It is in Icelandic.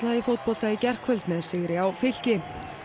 í fótbolta í gærkvöld með sigri á Fylki